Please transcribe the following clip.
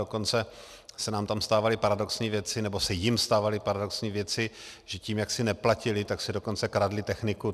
Dokonce se nám tam stávaly paradoxní věci, nebo jim se stávaly paradoxní věci, že tím, jak si neplatili, tak si dokonce kradli techniku.